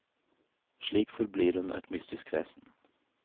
Slik forblir hun et mystisk vesen.